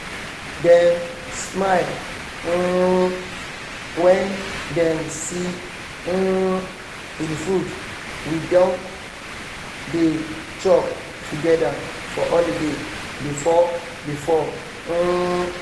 dem smile um when dem see um the food we dem dey chop together for holiday before-before um